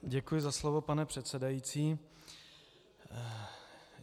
Děkuji za slovo, pane předsedající.